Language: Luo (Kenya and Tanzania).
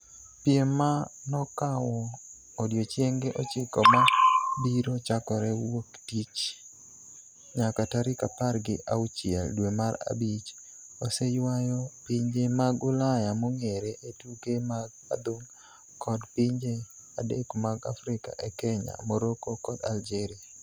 Piem ma nokawo odiechienge ochiko ma biro chakore wuok tich nyaka tarik apar gi auchiel dwe mar abich, oseywayo pinje mag Ulaya mong'ere e tuke mag adhong' kod pinje adek mag Afrika e Kenya, Morocco kod Algeria.